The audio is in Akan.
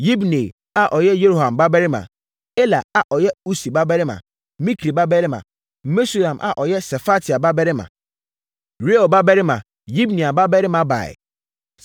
Yibneia a ɔyɛ Yeroham babarima; Ela a ɔyɛ Usi babarima, Mikri babarima; Mesulam a ɔyɛ Sefatia babarima, Reuel babarima, Yibnia babarima baeɛ.